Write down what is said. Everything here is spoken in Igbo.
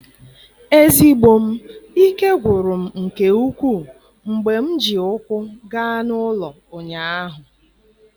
Ezigbo m, ike gwụrụ m nke ukwuu mgbe m ji ụkwụ gaa n'ụlọ ụnyaahụ.